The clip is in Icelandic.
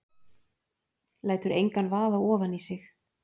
Lætur engan vaða ofan í sig.